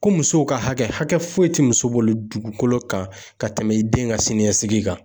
Ko musow ka hakɛ, hakɛ foyi tɛ muso bolo dugukolo kan ka tɛmɛ i den ka siniɲɛsigi kan.